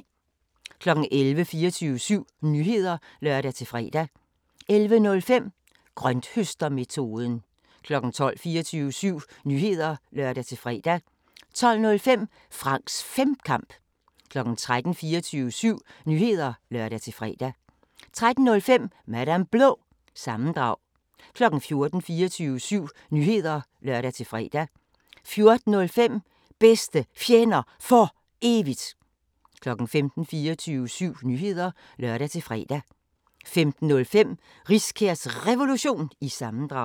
11:00: 24syv Nyheder (lør-fre) 11:05: Grønthøstermetoden 12:00: 24syv Nyheder (lør-fre) 12:05: Franks Femkamp 13:00: 24syv Nyheder (lør-fre) 13:05: Madam Blå – sammendrag 14:00: 24syv Nyheder (lør-fre) 14:05: Bedste Fjender For Evigt 15:00: 24syv Nyheder (lør-fre) 15:05: Riskærs Revolution – sammendrag